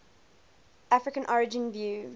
african origin view